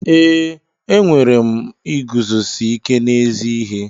Ee, enwere m iguzosi ike n'ezi ihe.